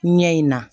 Ɲɛ in na